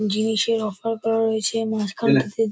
জিনিসের অফার করা হয়েছে মাঝখানেতে এনে--